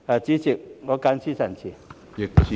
主席，我謹此陳辭。